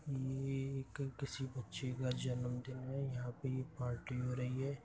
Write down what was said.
ये एक क किसी बच्चे का जन्मदिन है और जहां पे ये पार्टी हो रही है।